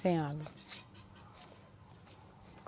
Sem água.